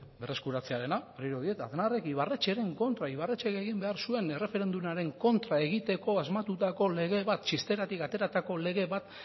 berreskuratzearena berriro diot aznarrek ibarretxeren kontra ibarretxek egin behar zuen erreferendumaren kontra egiteko asmatutako lege bat txisteratik ateratako lege bat